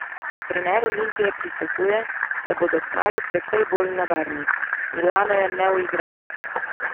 Trener Olimpije pričakuje, da bodo kmalu precej bolj nevarni: "Milano je neuigran.